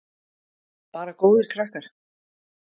Bara góðir krakkar.